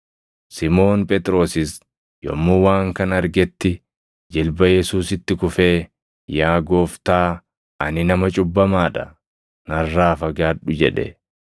Simoon Phexrosis yommuu waan kana argetti jilba Yesuusitti kufee, “Yaa Gooftaa, ani nama cubbamaa dha; narraa fagaadhu!” jedhe.